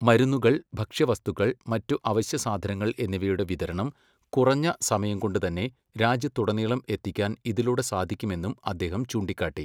മരുന്നുകൾ, ഭക്ഷ്യവസ്തുക്കൾ, മറ്റു അവശ്യസാധനങ്ങൾ എന്നിവയുടെ വിതരണം കുറഞ്ഞ സമയംകൊണ്ട് തന്നെ രാജ്യത്തുടനീളം എത്തിക്കാൻ ഇതിലൂടെ സാധിക്കുമെന്നും അദ്ദേഹം ചൂണ്ടിക്കാട്ടി.